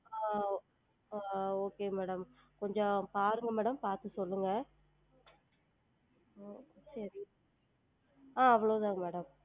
ஆஹ் ஆஹ் okay madam கொஞ்சம் பாருங்க madam பாத்து சொல்லுங்க உம் சேரி ஆஹ் அவ்ளோதான் madam